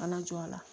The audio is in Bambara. Kana jɔ a la